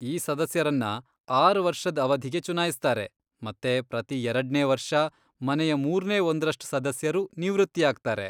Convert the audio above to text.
ಈ ಸದಸ್ಯರನ್ನ ಆರ್ ವರ್ಷದ್ ಅವಧಿಗೆ ಚುನಾಯಿಸ್ತಾರೆ, ಮತ್ತೆ ಪ್ರತೀ ಎರಡ್ನೇ ವರ್ಷ ಮನೆಯ ಮೂರ್ನೇ ಒಂದ್ರಷ್ಟ್ ಸದಸ್ಯರು ನಿವೃತ್ತಿಯಾಗ್ತಾರೆ.